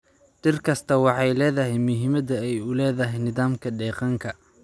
Dhir kastaa waxay leedahay muhiimada ay u leedahay nidaamka deegaanka.